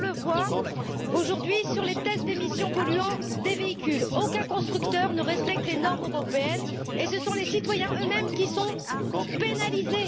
Car on le voit, aujourd'hui, sur les tests d'émissions polluantes des véhicules aucun constructeur ne respecte les normes européennes, et ce sont les citoyens eux mêmes qui sont pénalisés.